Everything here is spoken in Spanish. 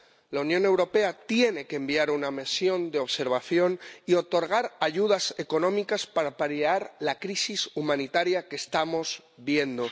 La Unión Europea tiene que enviar una misión de observación y otorgar ayudas económicas para paliar la crisis humanitaria que estamos viendo.